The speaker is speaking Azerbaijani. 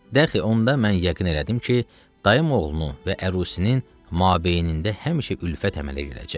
Dəxi onda mən yəqin elədim ki, dayım oğlunu və ərusinin mabeynində həmişə ülfət əmələ gələcək.